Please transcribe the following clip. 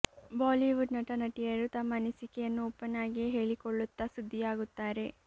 Bollywood ನಟ ನಟಿಯರು ತಮ್ಮ ಅನಿಸಿಕೆಯನ್ನು ಓಪನ್ ಆಗಿಯೇ ಹೇಳಿಕೊಳ್ಳುತ್ತಾ ಸುದ್ದಿಯಾಗುತ್ತಾರೆ